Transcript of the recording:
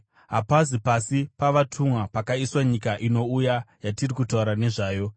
Hapazi pasi pavatumwa pakaiswa nyika inouya, yatiri kutaura nezvayo.